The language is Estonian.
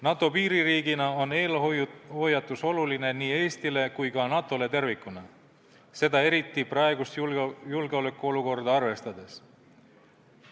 NATO piiririigina on eelhoiatus oluline nii Eestile kui ka NATO-le tervikuna, seda eriti praegust julgeolekuolukorda arvestades.